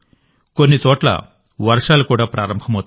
కొన్ని చోట్ల వర్షాలు కూడా ప్రారంభమవుతాయి